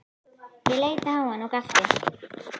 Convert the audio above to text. Ég leit á hann og gapti.